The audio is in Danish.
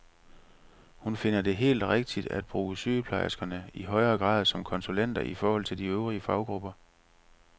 Hun finder det helt rigtigt at bruge sygeplejerskerne i højere grad som konsulenter i forhold til de øvrige faggrupper.